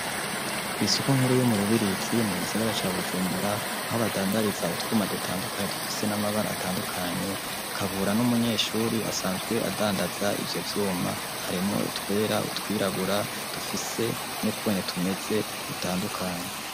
Kwisoko nkuru yo mu Rubirizi mu gisagara ca Bujumbura aho badandariza utwuma dutandukanye dufise n'amabara atandukanye .Kabura n'umunyeshuri asanzwe adandaza ivyo vyuma harimo utwera utwirabura dufise n'ukwene tumeze gutandukanye.